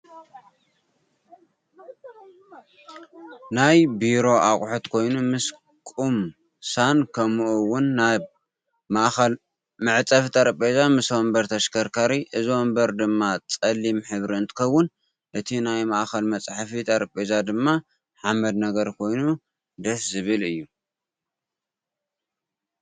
ናይ ብሮ ኣቅሑት ኮይኑ ምስ ቁ ምሳን ከምኡ እውን ናይ ማእከል መፀሕፊ ጠረበዛ ምስ ወንበር ተሽካርካሪ እዚ ወንበር ድማ ፀልም ሕብሪ እንትከውን እቲ ናይ ማእከል መፅሕፊ ጠረበዛ ድማ ሓመድ ነገር ኮይኑ ድስ ዝብል እዩ።